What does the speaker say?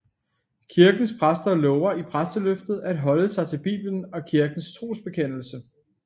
Kirkens præster lover i præsteløftet at holde sig til Bibelen og kirkens trosbekendelse